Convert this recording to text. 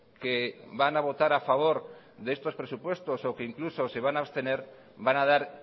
que van a votar a favor de estos presupuestos o que incluso se van a abstener van a dar